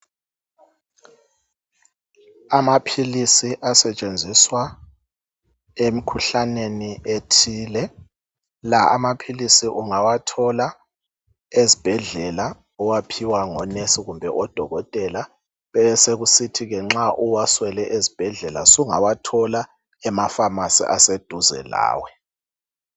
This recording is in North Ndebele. Amaphilisi asetshenziswa emkhuhlaneni ethile. La amaphilisi ungawathola ezibhedlela uwaphiwa ngonesi kumbe odokotela . Besekusithi nxa uwaswele ezibhedlela usungawathola emaFamasi aseduze lawe.